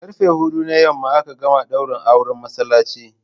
Karfe huɗu na yamma aka gama daurin auren masallaci.